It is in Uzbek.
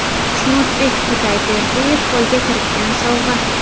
Xushnudbek Xudayberdiyev qo‘lga kiritgan sovg‘a.